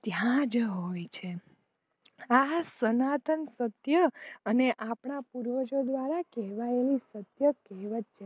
ત્યાંજ હોય છે આ સનાતન સત્ય અને આપણા પૂરાવજો દ્ધારા કહેવાયેલું સત્ય કહેવત છે.